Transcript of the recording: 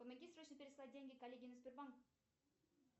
помоги срочно переслать деньги коллеге на сбербанк